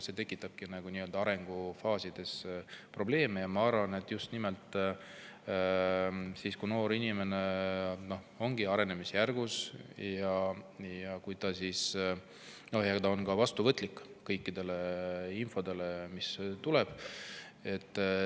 See tekitabki nii-öelda arengufaasides probleeme, ja ma arvan, just nimelt siis, kui noor inimene on arenemisjärgus ja kui ta on ka vastuvõtlik kogu sellele infole, mis tuleb.